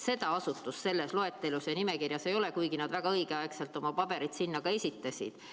Seda asutust selles loetelus või nimekirjas ei ole, kuigi nad väga õigeaegselt oma pabereid sinna esitasid.